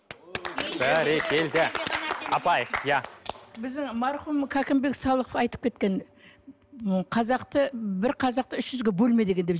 бәрекелді апай иә біздің марқұм кәкімбек салықов айтып кеткен м қазақты бір қазақты үш жүзге бөлме деген деп